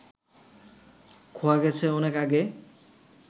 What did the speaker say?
খোয়া গেছে অনেক আগে